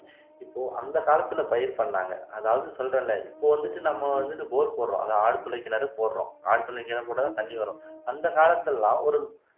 இப்போ அந்த காலத்துல பயிர் பண்ணாங்க அதாவது சொல்றேன்ல இப்ப வந்துட்டு நம்ம வந்துட்டு போர் போடறோம் அதாவது ஆழ்துளை கிணறு போடுறோம் ஆழ்துளை கிணறு போட்டாதான் தண்ணி வரும் அந்த காலத்துல எல்லாம் ஒரு